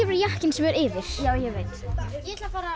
er jakkinn sem er yfir ég veit ég ætla að fara